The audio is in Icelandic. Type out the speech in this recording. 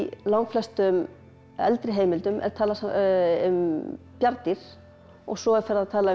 langflestum eldri heimildum er talað um bjarndýr og svo er farið að tala um